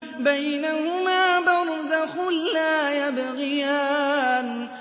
بَيْنَهُمَا بَرْزَخٌ لَّا يَبْغِيَانِ